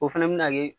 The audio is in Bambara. O fɛnɛ bina kɛ